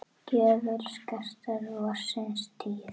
gjöful skartar vorsins tíð.